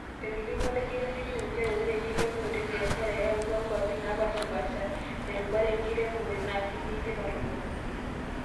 Etolimu olaigeroni kitok njeree oree elepunoto ebiashara eyatua nkuap naapashipasha, te rubata enkiremore naa kitii tipata oolomon.